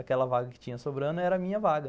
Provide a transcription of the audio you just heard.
Aquela vaga que tinha sobrando era a minha vaga.